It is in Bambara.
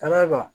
Ka d'a kan